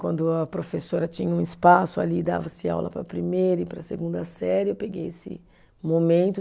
Quando a professora tinha um espaço ali, dava-se aula para primeira e para segunda série, eu peguei esse momento.